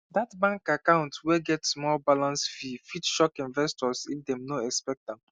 that bank account wey get small balance fee fit shock investors if dem no expect am